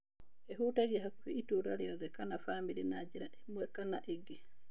Ĩhutagia hakũhĩ itũra rĩothe kana famĩlĩ na njĩra ĩme kana ĩngĩ.